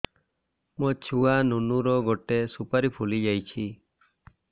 ମୋ ଛୁଆ ନୁନୁ ର ଗଟେ ସୁପାରୀ ଫୁଲି ଯାଇଛି